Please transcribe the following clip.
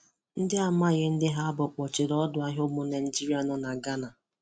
Ndị amaghị ndị ha bụ kpọchiri ọdọahịa ụmụ Naịjịrịa nọ na Ghana